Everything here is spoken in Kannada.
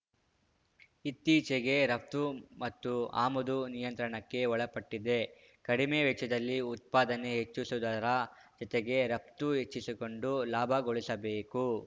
ಇತ್ತಿಚೆಗೆ ರಫ್ತು ಮತ್ತು ಆಮದು ನಿಯಂತ್ರಣಕ್ಕೆ ಒಳಪಟ್ಟಿದೆ ಕಡಿಮೆ ವೆಚ್ಚದಲ್ಲಿ ಉತ್ಪಾದನೆ ಹೆಚ್ಚಿಸುವುದರ ಜೊತೆಗೆ ರಫ್ತು ಹೆಚ್ಚಿಸಿಕೊಂಡು ಲಾಭಗೊಳಿಸಬೇಕು